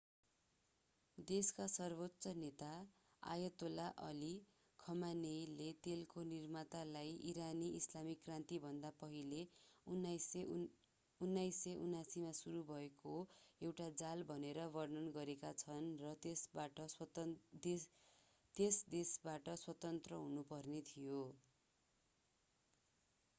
देशका सर्वोच्च नेता अयतोला अली खमानेइले तेलको निर्मातालाई ईरानी ईस्लामिक क्रान्तिभन्दा पहिला 1979 मा सुरु भएको एउटा जाल भनेर वर्णन गरेका छन् र त्यस देशबाट स्वतन्त्र हुनुपर्ने थियो